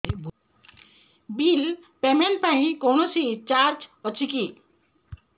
bill payment ପାଇଁ କୌଣସି charge ଅଛି କି